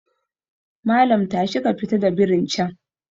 Malam tashi ka fita da birin can